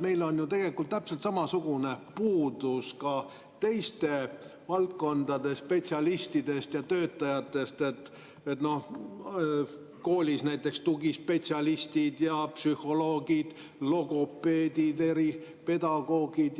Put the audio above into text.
Meil on täpselt samasugune puudus ka teiste valdkondade spetsialistidest ja töötajatest, koolis näiteks tugispetsialistidest, psühholoogidest, logopeedidest, eripedagoogidest